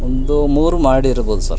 ಒಂದು ಮೂರು ಮಹಡಿ ಇರಬಹುದು ಸರ್ .